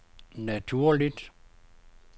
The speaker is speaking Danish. naturligt